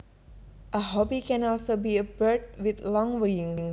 A hobby can also be a bird with long wings